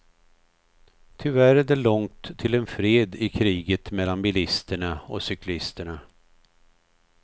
Tyvärr är det långt till en fred i kriget mellan bilisterna och cyklisterna.